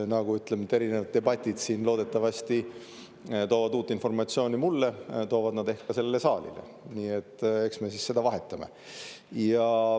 Nagu erinevad debatid siin loodetavasti toovad uut informatsiooni mulle, toovad nad ehk ka sellele saalile, nii et eks me siis seda vahetame.